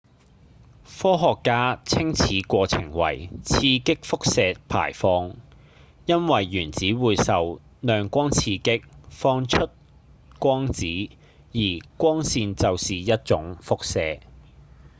科學家稱此過程為「刺激輻射排放」因為原子會受到亮光刺激放射出光子而光線就是一種輻射